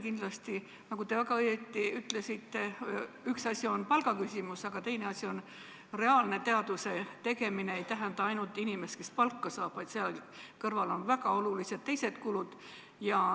Kindlasti – nagu te väga õigesti ütlesite – üks asi on palgaküsimus, aga teine asi on, et reaalne teaduse tegemine ei tähenda ainult inimest, kes palka saab, vaid seal kõrval on väga olulised teised kulud.